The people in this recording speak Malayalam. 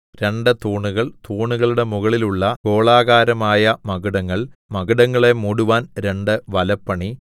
രണ്ട് തൂണുകൾ തൂണുകളുടെ മുകളിലുള്ള ഗോളാകാരമായ മകുടങ്ങൾ മകുടങ്ങളെ മൂടുവാൻ രണ്ടു വലപ്പണി